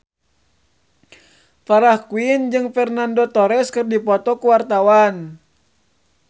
Farah Quinn jeung Fernando Torres keur dipoto ku wartawan